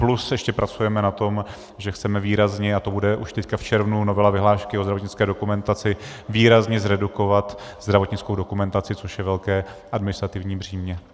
Plus ještě pracujeme na tom, že chceme výrazně - a to bude už teď v červnu, novela vyhlášky o zdravotnické dokumentaci - výrazně zredukovat zdravotnickou dokumentaci, což je velké administrativní břímě.